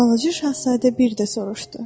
Balaca şahzadə bir də soruşdu.